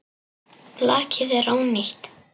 Lakið er ónýtt!